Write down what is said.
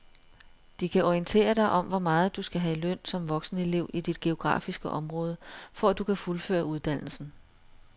De kan orientere dig om hvor meget du skal have i løn som voksenelev i dit geografiske område, for at du kan fuldføre uddannelsen.